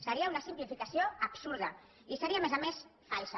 seria una simplificació absurda i seria a més a més falsa